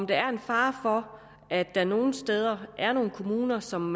der en fare for at der nogle steder er nogle kommuner som